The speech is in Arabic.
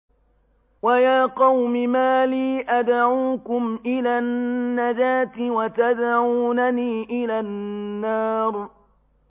۞ وَيَا قَوْمِ مَا لِي أَدْعُوكُمْ إِلَى النَّجَاةِ وَتَدْعُونَنِي إِلَى النَّارِ